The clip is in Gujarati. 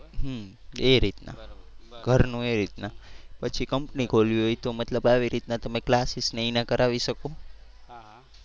એ રીતના બરોબર બરોબર ઘરનું એ રીતના. પછી કંપની ખોલવી હોય તો મતલબ આવી રીતના તમે classes ને એ કરાવી શકો.